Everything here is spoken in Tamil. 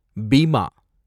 பீமா